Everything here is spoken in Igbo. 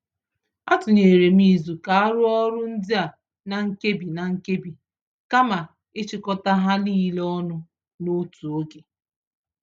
A tụnyerem izu ka arụọ ọrụ ndịa na-nkebi-na-nkebi kama ịchịkọta ha nile ọnụ n'otu ógè